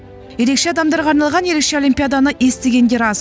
ерекше адамдарға арналған ерекше олимпиаданы естігендер аз